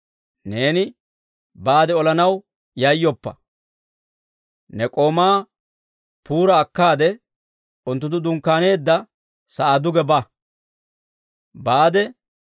Neeni baade olanaw yayyooppe, ne k'oomaa Puura akkaade, unttunttu dunkkaaneedda sa'aa duge baade,